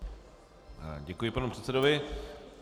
Děkuji panu předsedovi.